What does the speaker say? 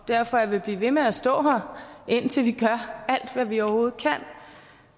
derfor jeg vil blive ved med at stå her indtil vi gør alt hvad vi overhovedet kan